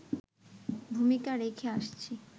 ভূমিকা রেখে আসছি